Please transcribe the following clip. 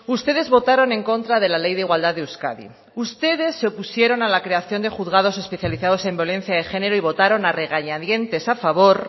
ustedes votaron en contra de la ley de igualdad de euskadi ustedes se opusieron a la creación de juzgados especializados en violencia de género y votaron a regañadientes a favor